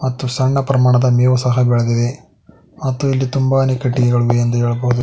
ಮತ್ತು ಸಣ್ಣ ಪ್ರಮಾಣದ ಮೇವು ಸಹ ಬೆಳದಿದೆ ಮತ್ತು ಇಲ್ಲಿ ತುಂಬಾನೆ ಕಿಟಕಿಗಳು ಇದೆ ಎಂದು ಹೇಳಬೋದು.